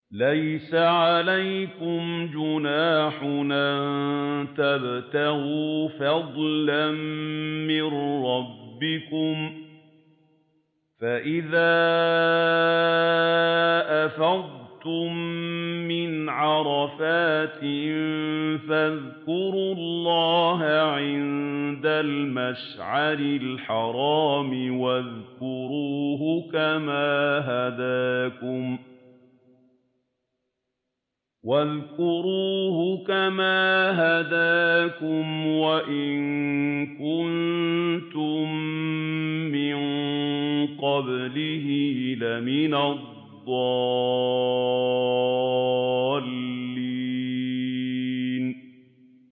لَيْسَ عَلَيْكُمْ جُنَاحٌ أَن تَبْتَغُوا فَضْلًا مِّن رَّبِّكُمْ ۚ فَإِذَا أَفَضْتُم مِّنْ عَرَفَاتٍ فَاذْكُرُوا اللَّهَ عِندَ الْمَشْعَرِ الْحَرَامِ ۖ وَاذْكُرُوهُ كَمَا هَدَاكُمْ وَإِن كُنتُم مِّن قَبْلِهِ لَمِنَ الضَّالِّينَ